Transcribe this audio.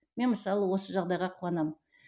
мен мысалы осы жағдайға куанамын